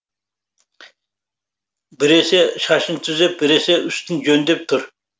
біресе шашын түзеп біресе үстін жөндеп тұр